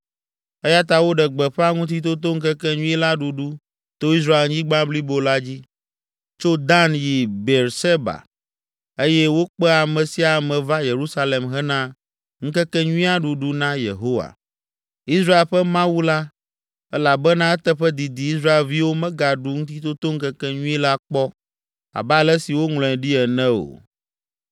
eya ta woɖe gbeƒã Ŋutitotoŋkekenyui la ɖuɖu to Israelnyigba blibo la dzi, tso Dan yi Beerseba eye wokpe ame sia ame va Yerusalem hena ŋkekenyuia ɖuɖu na Yehowa, Israel ƒe Mawu la, elabena eteƒe didi Israelviwo megaɖu Ŋutitotoŋkekenyui la kpɔ, abe ale si woŋlɔe ɖi ene o.